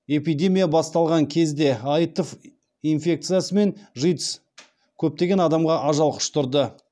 эпидемия басталған кезде аитв инфекциясы мен житс көптеген адамға ажал құштырды